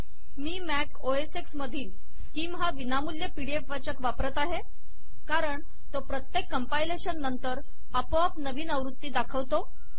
मी Mac O S X मधील Skim हा विनामूल्य पी डी एफ वाचक वापरीत आहे कारण तो प्रत्येक कंपाइलेशन नंतर आपोआप नवीन आवृत्ती दाखवितो